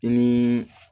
I ni